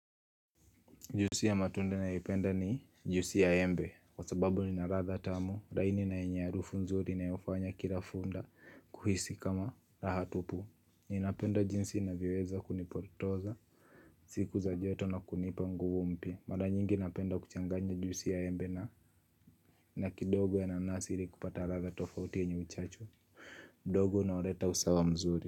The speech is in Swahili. Juisi ya matunda ninayopenda ni ju8si ya embe, kwa sababu ni in radha tamu, laini na yenye arufu nzuri inayo fanya kila funda kuhisi kama raha tupu. Ninapenda jinsi inavyoweza kunipotoza, siku za joto na kunipa nguvu mpya, mara nyingi napenda kuchanganya juisi ya embe na, na kidogo ya nanasi ili kupata rada tofauti yenye uchachu. Dogo na uleta usawa mzuri.